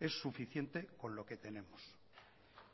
es suficiente con lo que tenemos